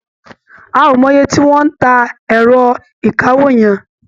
A ò mo iye tí wọ́n ń ta ẹ̀rọ ìkawó yẹn.